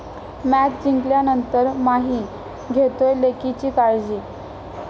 Match जिंकल्यानंतर 'माही' घेतोय लेकीची काळजी!